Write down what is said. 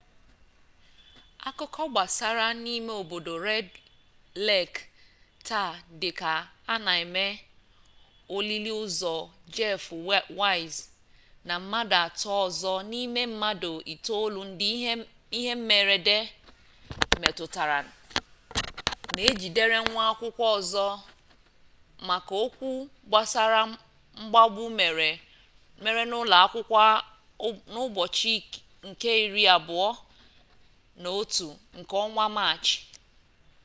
akụkọ gbasara n'ime obodo red lek taa dịka a na eme olili ozu jeff weise na mmadụ atọ ọzọ n'ime mmadụ itolu ndị ihe mmerede metụtara na ejidere nwa akwụkwọ ọzọ maka okwu gbasara mgbagbu mere n'ụlọ akwụkwọ n'ụbọchị nke iri abụọ na otu nke ọnwa maachị